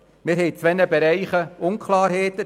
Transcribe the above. In zwei Bereichen herrscht Unklarheit.